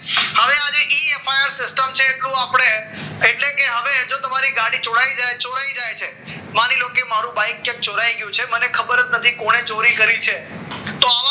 હવે આજે A F I system છે એટલું આપણે એટલે કે હવે જો તમારી ગાડી ચોરાઈ જાય છે માની લો કે મારું બાઈક ક્યાંક ચોરાઈ ગયું છે મને ખબર જ નથી કોને ચોરી કરી છે તો